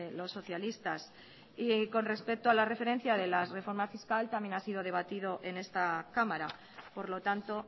los socialistas y con respecto a la referencia de la reforma fiscal también ha sido debatido en esta cámara por lo tanto